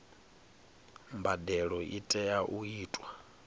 mbadelo i tea u itwa